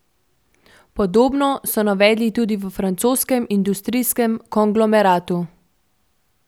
Podobno so navedli tudi v francoskem industrijskem konglomeratu.